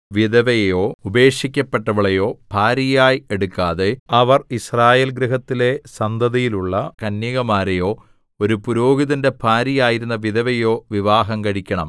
വിധവയെയോ ഉപേക്ഷിക്കപ്പെട്ടവളെയോ ഭാര്യയായി എടുക്കാതെ അവർ യിസ്രായേൽ ഗൃഹത്തിലെ സന്തതിയിലുള്ള കന്യകമാരെയോ ഒരു പുരോഹിതന്റെ ഭാര്യയായിരുന്ന വിധവയെയോ വിവാഹം കഴിക്കണം